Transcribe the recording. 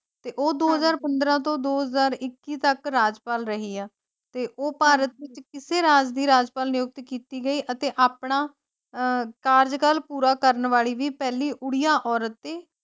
ਤੇ ਉਹ ਦੋ ਹਜ਼ਾਰ ਪੰਦਰ੍ਹਾਂ ਤੋਂ ਦੋ ਹਜ਼ਾਰ ਇੱਕੀ ਤਕ ਰਾਜਪਾਲ ਰਹੀ ਹੈ ਤੇ ਉਹ ਭਾਰਤ ਵਿਚ ਕਿਸੇ ਰਾਜ ਦੀ ਰਾਜਪਾਲ ਨਿਯੁਕਤ ਕੀਤੀ ਗਈ ਅਤੇ ਆਪਣਾ ਆਹ ਕਾਰਜ ਕਾਲ ਪੂਰਾ ਕਰਨ ਵਾਲੀ ਵੀ ਪਹਿਲੀ ਓੜ੍ਹੀਆ ਔਰਤ ਸੀ।